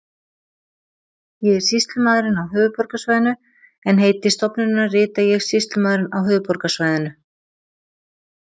ég er sýslumaðurinn á höfuðborgarsvæðinu en heiti stofnunarinnar rita ég sýslumaðurinn á höfuðborgarsvæðinu